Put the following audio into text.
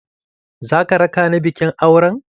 Za ka raka ni bikin auren?